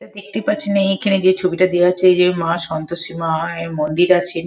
দেখতে পাচ্ছি না এই যে ছবিটা দেওয়া আছে যে মা সন্তোষী মা এর মন্দির আছে।